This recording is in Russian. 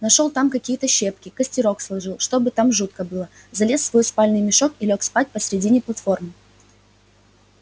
нашёл там какие-то щепки костерок сложил чтобы так жутко было залез в свой спальный мешок и лёг спать посередине платформы